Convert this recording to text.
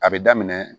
A bɛ daminɛ